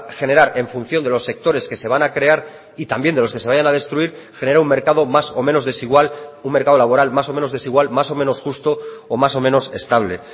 generar en función de los sectores que se van a crear y también de los que se vayan a destruir genera un mercado más o menos desigual un mercado laboral más o menos desigual más o menos justo o más o menos estable